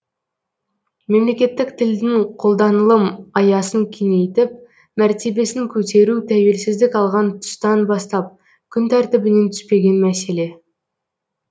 мемлекеттік тілдің қолданылым аясын кеңейтіп мәртебесін көтеру тәуелсіздік алған тұстан бастап күн тәртібінен түспеген мәселе